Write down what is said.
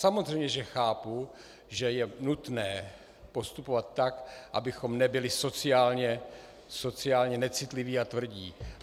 Samozřejmě že chápu, že je nutné postupovat tak, abychom nebyli sociálně necitliví a tvrdí.